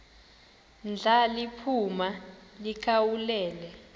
ndla liphuma likhawulele